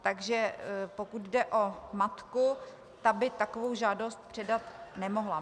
Takže pokud jde o matku, ta by takovou žádost předat nemohla.